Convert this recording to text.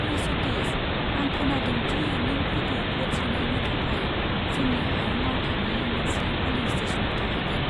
ओइ सतिश, आं खोनादों दि नों फैगौ भ'ट सोनायनि थाखाय जोंनि हायुं आवथानि मोनसे पलिं स्टेशनाव थाहैगोन।